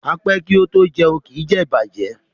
A pé kí o to jẹún, kí jé ìbàjẹ́.